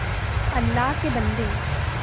अल्लाह के बन्दे